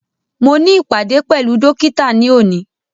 Mo ní ìpàdé pẹ̀lú dókítà ní òní